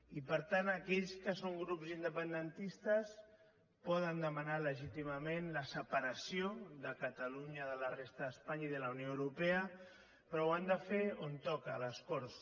i per tant aquells que són grups independentistes poden demanar legítimament la separació de catalunya de la resta d’espanya i de la unió europea però ho han de fer on toca a les corts